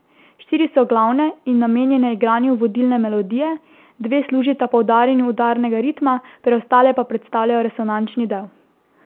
Štiri so glavne in namenjene igranju vodilne melodije, dve služita poudarjanju udarnega ritma, preostale pa predstavljajo resonančni del.